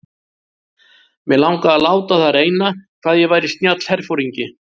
Mig langaði að láta á það reyna hvað ég væri snjall herforingi.